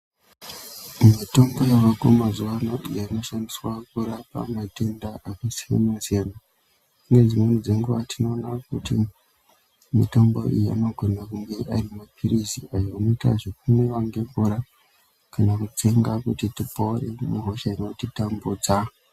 Mitombo yavako mazuwa ano inoshandiswa kurapa matenda akasiyana-siyana. Ngedzimweni dzenguwa tinoona kuti mitombo iyi inogona kunge ari maphirizi ayo anoita zvekumwiwa nemvura kana kutenga kuti tipone muhosha inotitambudza.